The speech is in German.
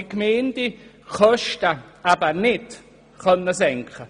Die Gemeindekosten sanken danach aber nicht.